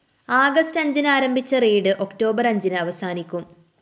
August അഞ്ചിന് ആരംഭിച്ച raid October‍ അഞ്ചിന് അവസാനിക്കും